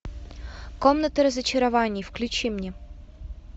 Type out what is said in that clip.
комната разочарований включи мне